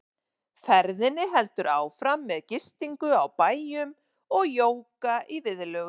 Ferðinni heldur áfram með gistingu á bæjum og jóga í viðlögum.